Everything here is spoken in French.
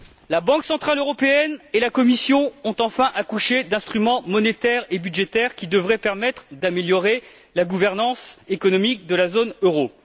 La Banque centrale européenne et la Commission ont enfin accouché d'instruments monétaires et budgétaires qui devraient permettre d'améliorer la gouvernance économique de la zone euro.